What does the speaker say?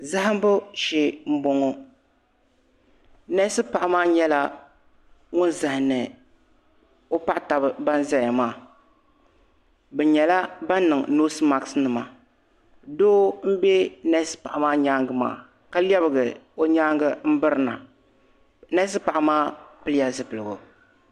Zahimbu shee n bɔŋɔ nɛsi paɣa maa nyɛla ŋuni zahimdi o paɣa taba bini zaya maa bi nyɛla bini niŋ noose maɣisi nima doo mbɛ nɛsi paɣa maa yɛanga maa ka lɛbigi o yɛanga m .biri na nɛsi paɣa maa pili la zupiligu